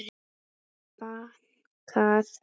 Og bankað.